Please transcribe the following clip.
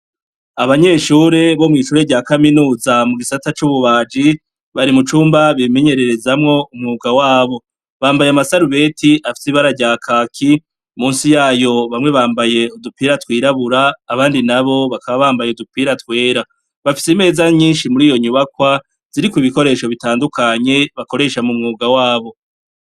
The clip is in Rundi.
Abanyeshure bo mw'ishure rya Kaminuza mu gisata c'Ububaji bari mu cumba bimenyererezamwo umwuga wabo. Bambaye amasarubeti afise ibara rya kaki munsi yayo bamwe bambaye udupira twirabura abandi nabo bakaba bambaye udupira twera. Bafise imeza nyinshi muriyo nyubakwa ziriko ibikoresho bitandukanye bakoresha mu mwuga wabo.